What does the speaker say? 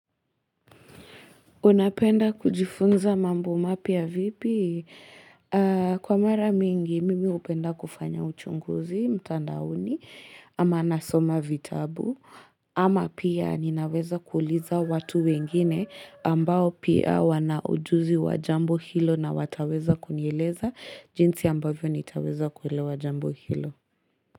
Unapenda kujifunza mambo mapya vipi? Kwa mara mingi, mimi upenda kufanya uchunguzi, mtandaoni, ama nasoma vitabu. Ama pia ninaweza kuliza watu wengine ambao pia wanaujuzi wajambo hilo na wataweza kunieleza jinsi ambavyo nitaweza kuelewa jambo hilo.